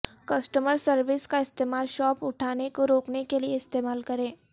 customer service کا استعمال شاپ اٹھانے کو روکنے کے لئے استعمال کریں